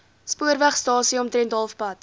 spoorwegstasie omtrent halfpad